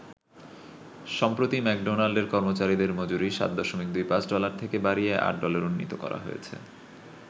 সম্প্রতি ম্যাকডোনাল্ডের কর্মচারিদের মজুরি ৭.২৫ ডলার থেকে বাড়িয়ে ৮ ডলারে উন্নীত করা হয়েছে।